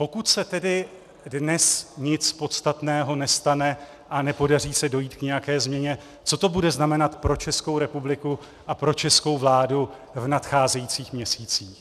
Pokud se tedy dnes nic podstatného nestane a nepodaří se dojít k nějaké změně, co to bude znamenat pro Českou republiku a pro českou vládu v nadcházejících měsících?